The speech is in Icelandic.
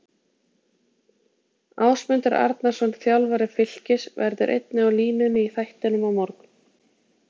Ásmundur Arnarsson, þjálfari Fylkis, verður einnig á línunni í þættinum á morgun.